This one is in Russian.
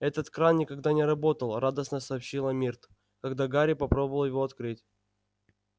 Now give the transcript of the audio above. этот кран никогда не работал радостно сообщила миртл когда гарри попробовал его открыть